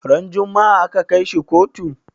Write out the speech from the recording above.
Ran juma'a aka kai shi kotu?